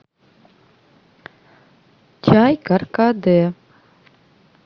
чай каркаде